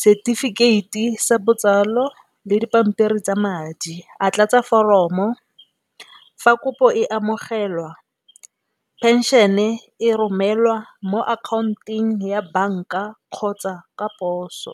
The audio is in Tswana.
setefikeiti sa botsalo le dipampiri tsa madi, a tlatsa foromo, fa kopo e amogelwa phenšene e romelwa mo account-ong ya banka kgotsa ka poso.